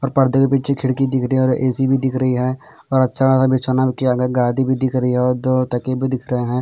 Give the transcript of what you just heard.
और परदे के पीछे खिड़की दिख रही हैं और एसी भी दिख रही हैं और अच्छा खासा बिछोना किया गया हैं गादी भी दिख रही हैं और दो तकिये भी दिख रहे हैं।